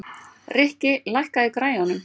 Rikki, lækkaðu í græjunum.